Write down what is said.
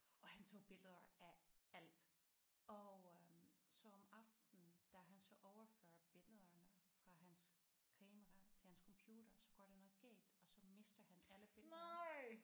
Og han tog billeder af alt og øh så om aftenen da han så overførte billederne fra hans kamera til hans computer så går der noget galt og så mister han alle billederne